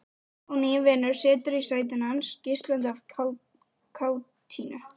Og nýi vinurinn situr í sætinu hans, geislandi af kátínu.